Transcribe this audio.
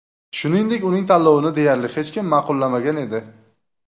Shuningdek, uning tanlovini deyarli hech kim ma’qullamagan edi.